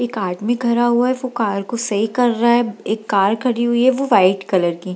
एक आदमी खड़ा हुआ है वो कार को सही कर रहा है एक कार खड़ी हुई हैं वो व्हाइट कलर की है।